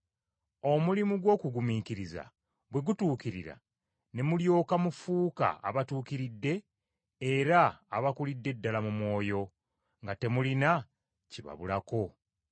Omulimu gw’okugumiikiriza bwe gutuukirira, ne mulyoka mufuuka abatuukiridde era abakulidde ddala mu mwoyo, nga temulina kibabulako.